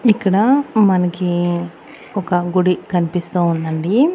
ఇక్కడ మనకి ఒక గుడి కనిపిస్తూ ఉందండి.